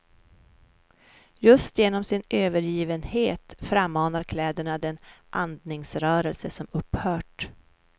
Just genom sin övergivenhet frammanar kläderna den andningsrörelse som upphört.